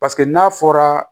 Paseke n'a fɔra